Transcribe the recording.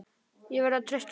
Ég verð að treysta honum.